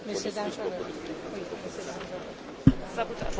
Herr Präsident, sehr verehrte Damen und Herren!